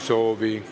Soove ei ole.